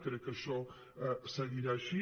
crec que això seguirà així